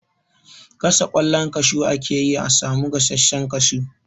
Gasa ƙwallon kashu ake yi a samu gasashen kashu.